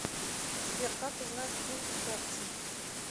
сбер как узнать пин к карте